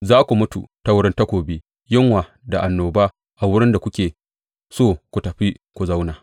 Za ku mutu ta wurin takobi, yunwa da annoba a wurin da kuke so ku tafi ku zauna.